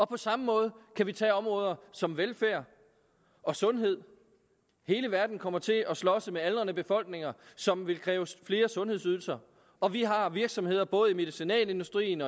på samme måde kan vi tage områder som velfærd og sundhed hele verden kommer til at slås med aldrende befolkninger som vil kræve flere sundhedsydelser og vi har virksomheder både i medicinalindustrien